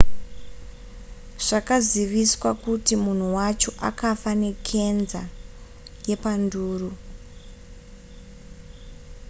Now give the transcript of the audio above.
zvakaziviswa kuti munhu wacho akafa nekenza yepanduru